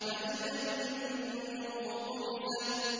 فَإِذَا النُّجُومُ طُمِسَتْ